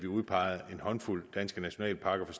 udpegede en håndfuld danske nationalparker